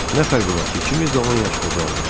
Nə fərqi var ki, ikimiz də on yaş qocaldıq.